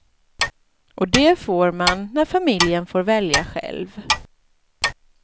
Och det får man när familjen får välja själv.